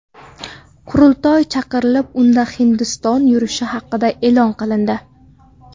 Qurultoy chaqirilib, unda Hindiston yurishi haqida e’lon qilindi.